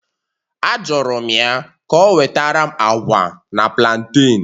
Ajụrụ m ya ka o wetara m agwa na plantain